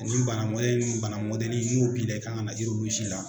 Ni bara mɔdɛli n'o b'i la, i kan ka na la